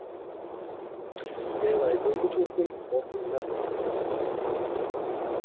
Eða í göngutúrnum morguninn eftir.